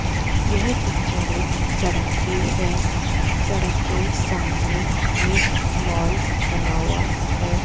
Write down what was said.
यह पिक्चर एक सड़क की है सड़क के सामने एक मॉल बना हुआ है।